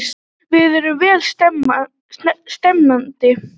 Við erum vel stemmdir.